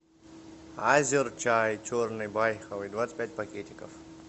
азер чай черный байховый двадцать пять пакетиков